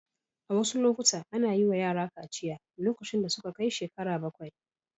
A wasu lokuta ana yi wa yara kaciya lokacin da suka kai shekara bakwai.